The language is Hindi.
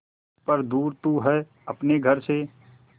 पर दूर तू है अपने घर से